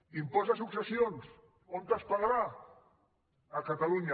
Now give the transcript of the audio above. impost de successions on es pagarà a catalunya